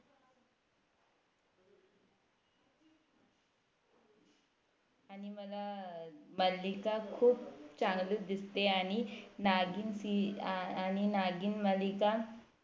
आणि मला अं मालिका खूप चांगली दिसते आणि नागिण Serial आणि नागिण मालिका